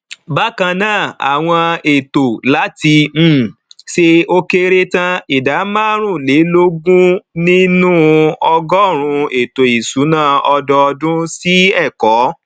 bákan náà àwọn ètò láti um ṣe ó kéré tán ìdá máàrúnlélógún nínú ọgọrùnún ètò ìsúná ọdọọdún sí ẹkọ